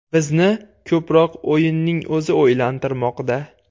Bizni ko‘proq o‘yinning o‘zi o‘ylantirmoqda.